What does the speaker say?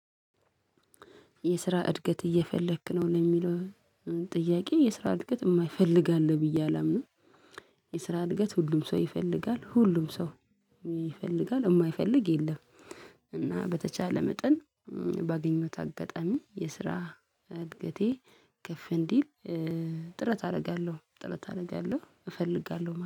የስራ እድገት እየፈለክ ነው ለሚለው? ጥያቄ የስራ እድገት የማይፈልግ አለ ብዬ አላምንም። የስራ እድገት ሁሉም ሰው ይፈልጋል ሁሉም ሰው ይፈልጋል የማይፈልግ የለም። እና በተቻለ መጠን ባገኘሁት አጋጣሚ የስራ እድገቴ ከፍ እንዲል ጥረት አደርጋለሁ። ጥረት አደርጋለሁ እፈልጋለሁ